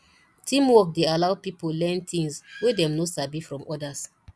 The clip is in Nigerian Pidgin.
teamwork dey allow pipo learn things wey dem no sabi from others